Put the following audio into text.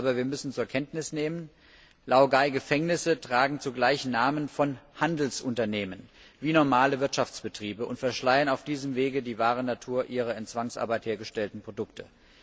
Aber wir müssen zur Kenntnis nehmen Laogai Gefängnisse tragen zugleich Namen von Handelsunternehmen wie normale Wirtschaftsbetriebe und verschleiern auf diesem Wege die wahre Natur ihrer in Zwangsarbeit hergestellten Produkte.